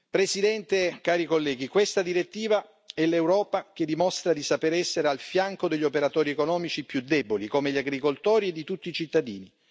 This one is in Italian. Presidente, cari colleghi, questa direttiva è l'Europa che dimostra di saper essere al fianco degli operatori economici più deboli, come gli agricoltori, e di tutti i cittadini.